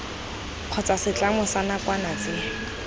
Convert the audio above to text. kgotsa setlamo sa nakwana tse